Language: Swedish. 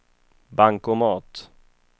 bankomat